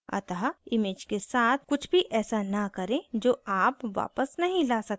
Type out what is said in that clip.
अतः image के साथ कुछ भी ऐसा न करें जो आप वापस नहीं ला सकते